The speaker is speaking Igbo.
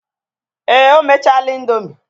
Èè, o mechaala indomie.